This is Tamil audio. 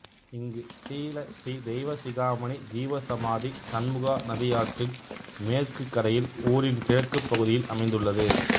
இங்கு ஸ்ரீலஸ்ரீ தெய்வசிகாமணி ஜீவசாமதி சண்முகா நதி ஆற்றின் மேற்கு கரையில் ஊரின் கிழக்குப் பகுதியில் அமைந்துள்ளது